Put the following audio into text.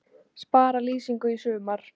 Spara lýsingu í sumar